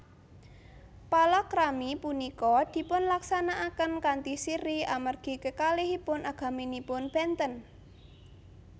Palakrami punika dipunlaksanakaken kanthi sirri amargi kekalihipun agamanipun benten